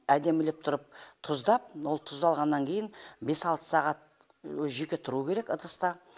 әдемілеп тұрып тұздап ол тұз алғаннан кейін бес алты сағат өзі жеке тұру керек ыдыста